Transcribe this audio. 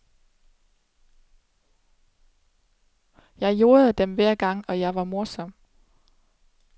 Jeg jordede dem hver gang, og jeg var morsom.